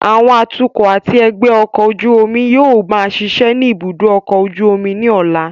Àwọn atukọ̀ àti ẹgbẹ́ ọkọ̀ ojú omi yóò máa ṣiṣẹ́ ní ibùdó ọkọ̀ ojú omi ní ọ̀la